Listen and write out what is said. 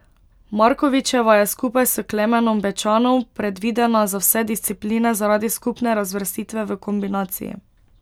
Markovičeva je skupaj s Klemenom Bečanom predvidena za vse discipline zaradi skupne razvrstitve v kombinaciji.